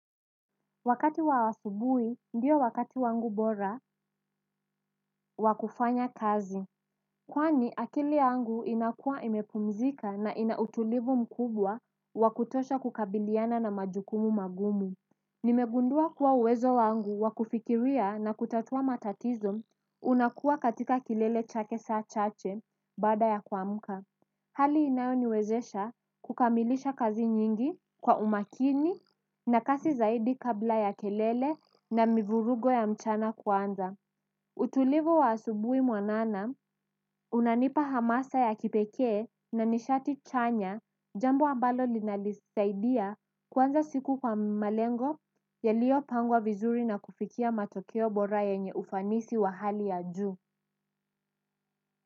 Wakati wawasubui ndio wakati wangu bora wakufanya kazi. Kwani akili yangu inakuwa imepumzika na inautulivu mkubwa wakutosha kukabiliana na majukumu magumu. Nimegundua kuwa uwezo wangu wakufikiria na kutatua matatizo unakuwa katika kilele chake saa chache bada ya kwamuka. Hali inayoniwezesha kukamilisha kazi nyingi kwa umakini na kasi zaidi kabla ya kelele na mivurugo ya mchana kwanza. Utulivu wa asubui mwanana, unanipa hamasa ya kipeke na nishati chanya jambo ambalo linalisaidia kwanza siku kwa malengo yaliopangwa vizuri na kufikia matokeo bora yenye ufanisi wa hali ya juu.